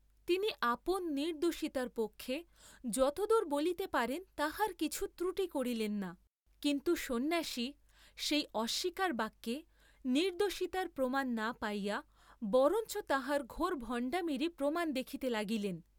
তিনি আপন নির্দ্দোষিতার পক্ষে যতদূর বলিতে পারেন তাহার কিছু ত্রুটি করিলেন না, কিন্তু সন্ন্যাসী সেই অস্বীকার বাক্যে নির্দ্দোষিতার প্রমাণ না পাইয়া বরঞ্চ তাঁহার ঘোর ভণ্ডামীরই প্রমাণ দেখিতে লাগিলেন।